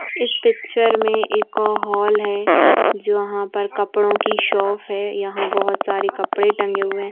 इस पिक्चर में एक हॉल है जहाँ पर कपड़ो की शॉप है यहाँ बहोत सारे कपड़े टंगे हुये हैं ।